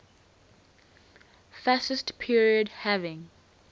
fascist period having